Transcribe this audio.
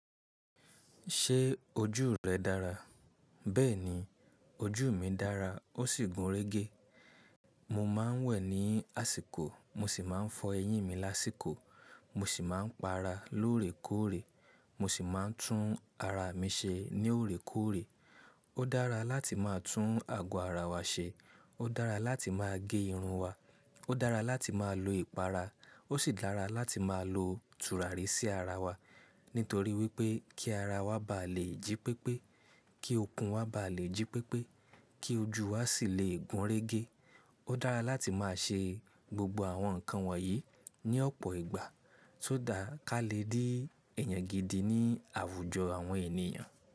Ṣé ojú rẹ dára? Bẹ́ẹ̀ni, ojú mi dára ó sì gún régé. Mo máa ń wẹ̀ ní àsìkò mo sì máa ń fọ ẹyín mi lásìkò, mo sì máa ń para lóòrèkóòrè, mo sì máa ń tún ara mi ṣe ní òrèkóòrè. Ó dára láti máa tún àgọ́ ara wa ṣe, ó dára láti máa gé irun wa, ó dára láti máa lo ìpara, ó sì dára láti máa lo tùràrí sí ara wa. Nítorí wípé kí ara wa bá lè jí pépé, kí okun wa bá lè jí pépé, kí ojú wa sì lè gún régé. Ó dára láti máa ṣe gbogbo àwọn nǹkan wọ̀nyí ní ọ̀pọ̀ ìgbà só that ká lè rí èyàn gidi ní àwùjọ àwọn ènìyàn.